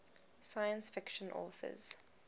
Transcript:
science fiction authors